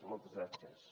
moltes gràcies